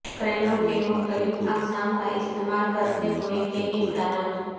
کرینوں کی مختلف اقسام کا استعمال کرتے ہوئے کے امکانات